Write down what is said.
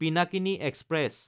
Pinakini express